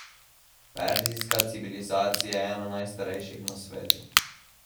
Perzijska civilizacija je ena najstarejših na svetu.